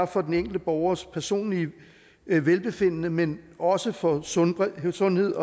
for den enkelte borgers personlige velbefindende men også for sundhed sundhed